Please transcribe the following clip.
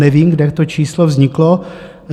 Nevím, kde to číslo vzniklo.